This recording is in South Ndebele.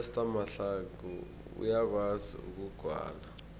uester mahlangu uyakwazi ukugwala